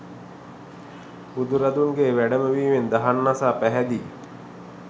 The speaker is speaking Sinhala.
බුදුරදුන්ගේ වැඩම වීමෙන් දහම් අසා පැහැදී